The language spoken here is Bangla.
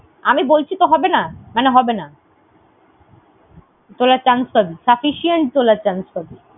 আমি বলছি তো হবেনা, মানে হবেনা। তোলার chance পাবি, sufficient তোলার chance পাবি।